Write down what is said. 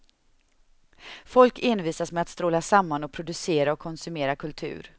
Folk envisas med att stråla samman och producera och konsumera kultur.